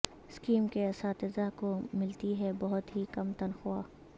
scheme کے اساتذہ کو ملتی ہے بہت ہی کم تنخواہ